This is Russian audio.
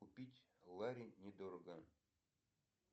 купить лари недорого